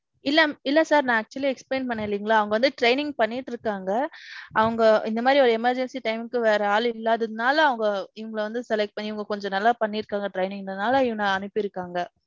இல்ல இல்ல sir, நான் actually explain பன்னேன் இல்லியா, அவங்க வந்து training பன்னிட்டிருக்காங்க. அவங்க இந்த மாதிரி ஓரு emergency time க்கு வேற ஆள் இல்லாதது நால அவங்க இவங்கள வந்து select பன்னி, இவங்க கொஞ்சம் நல்லா பண்ணியிருக்காங்க training ல எல்லாம், அதனால இவான அனுப்பிருக்காங்க.